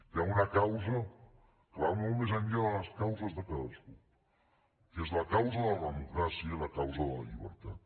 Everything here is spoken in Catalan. hi ha una causa que va molt més enllà de les causes de cadascú que és la causa de la democràcia i la causa de la llibertat